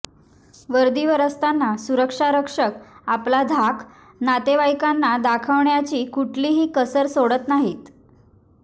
वर्दीवर असताना सुरक्षा रक्षक आपला धाक नातेवाईकांना दाखवण्याची कुठलीही कसर सोडत नाहीत